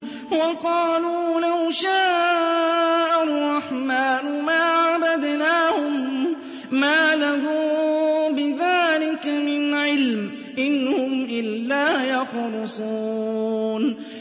وَقَالُوا لَوْ شَاءَ الرَّحْمَٰنُ مَا عَبَدْنَاهُم ۗ مَّا لَهُم بِذَٰلِكَ مِنْ عِلْمٍ ۖ إِنْ هُمْ إِلَّا يَخْرُصُونَ